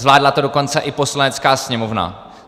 Zvládla to dokonce i Poslanecká sněmovna.